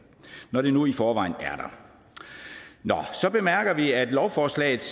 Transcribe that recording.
når det nu i forvejen er der så bemærker vi at lovforslagets